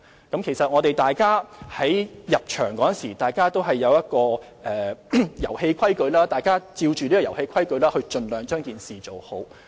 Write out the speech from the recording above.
營運者在進場時，都知道遊戲規則，大家便按着這套遊戲規則盡量做好。